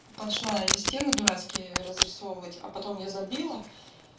пошла я эти стены дурацкий разрисовывать а потом я забила